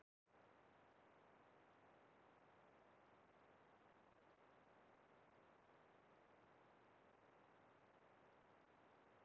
Rannsóknir hafa sýnt að krókódílar virðast vera skyldari fuglum en öðrum núlifandi tegundum skriðdýra.